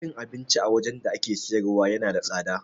Cin abinci a wajan da ake siyarwa yana da tsada